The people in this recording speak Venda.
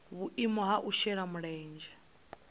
vhuimo ha u shela mulenzhe